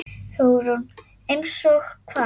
Hugrún: Eins og hvað?